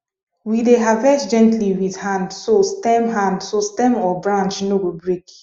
we dey harvest gently with hand so stem hand so stem or branch no go break